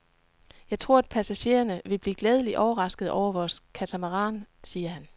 Jeg tror, at passagererne vil blive glædeligt overraskede over vores katamaran, siger han.